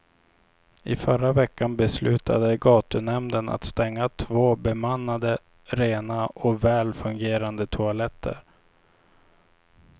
I förra veckan beslutade gatunämnden att stänga två bemannade, rena och väl fungerande toaletter.